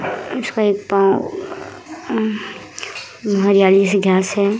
हरियाली सी घास है।